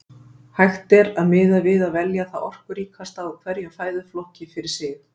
Hægt er að miða við að velja það orkuríkasta úr hverjum fæðuflokki fyrir sig.